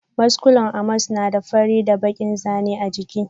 Muskulen Amos na da fari da bakin zanin jiki.